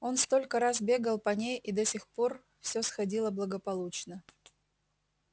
он столько раз бегал по ней и до сих пор все сходило благополучно